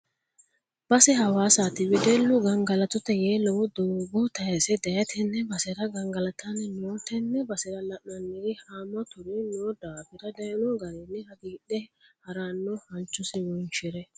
Base hawaasati weddellu gangalattote yee lowo doogo tayise daaye tene basera gangalattanni no tene basera la'nanniri hamaturi no daafira dayino garinni hagiidhe harano halchosi wonshire.